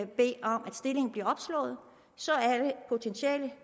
bede om at stillingen bliver opslået så alle potentielle